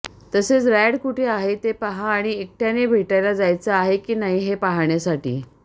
तसेच रँड कुठे आहे ते पहा आणि एकट्याने भेटायला जायचं आहे की नाही हे पाहण्यासाठी